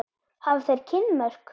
Hafa þeir kynmök?